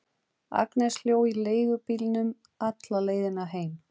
Agnes hló í leigubílnum alla leiðina heim.